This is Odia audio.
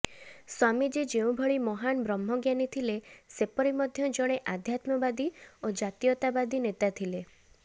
ସ୍ୱାମୀଜୀ ଯେଉଁଭଳି ମହାନ୍ ବ୍ରହ୍ମଜ୍ଞାନୀ ଥିଲେ ସେପରି ମଧ୍ୟ ଜଣେ ଅଧ୍ୟାତ୍ମବାଦୀ ଓ ଜାତୀୟତାବାଦୀ ନେତା ଥିଲେ